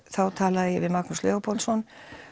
þá talaði ég við Magnús Leópoldsson